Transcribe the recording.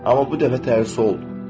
Amma bu dəfə tərsi oldu.